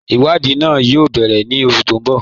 Iwadii náà yóò bẹ̀rẹ̀ ní oṣù tí n bọ́.